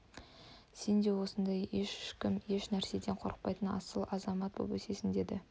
сен де сондай ешкім еш нәрседен қорықпайтын асыл азамат боп өсесің деді